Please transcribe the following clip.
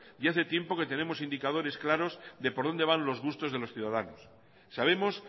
y hace tiempo que tenemos indicadores claros de por donde van los gustos de los ciudadanos sabemos